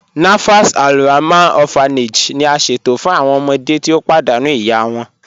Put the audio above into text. Nafas Alrahman Orphanage ni a ṣẹto fun awọn ọmọde ti o padànú iya wọn.